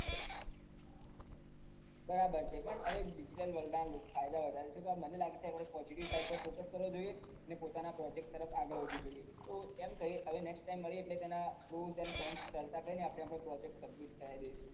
બરાબર છે પણ હવે digital world ના લોકો ફાયદા વધારે છે તો મને લાગે છે આપડે possitive side focuse કરવો જોઈએ ને પોતાના project તરફ આગળ વધવું જોઈએ તો એમ કરીએ next time મળીયે તેના આપડો project submit કરાવી દઈએ